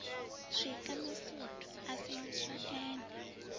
swika masutu a sengiswa ene